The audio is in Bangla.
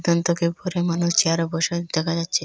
পরে মানুষ চেয়ারে বসে দেখা যাচ্ছে।